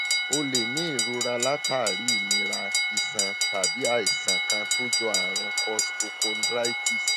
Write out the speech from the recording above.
o lè ní ìrora látàrí ìnira iṣan tàbí àìsàn kan tó jọ àrùn costochondritis